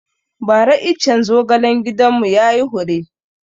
Ba ra iccen zogalen gidan mu yayi hure